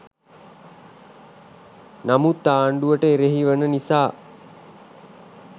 නමුත් ආණ්ඩුවට එරෙහි වන නිසා